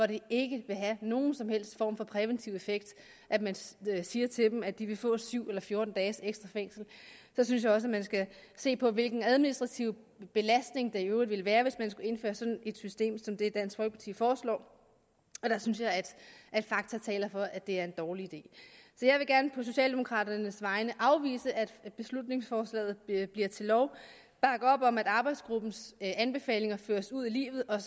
det ikke vil have nogen som helst form for præventiv effekt at man siger til dem at de vil få syv eller fjorten dages ekstra fængsel så synes jeg også at man skal se på hvilken administrativ belastning det i øvrigt ville være hvis man skulle indføre sådan et system som det dansk folkeparti foreslår der synes jeg at fakta taler for at det er en dårlig idé jeg vil gerne på socialdemokraternes vegne afvise at beslutningsforslaget bliver til lov og bakke op om at arbejdsgruppens anbefalinger føres ud i livet og